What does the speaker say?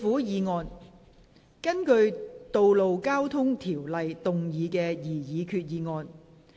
根據《道路交通條例》動議的擬議決議案。